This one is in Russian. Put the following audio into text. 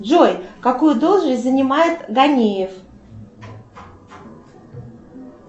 джой какую должность занимает ганеев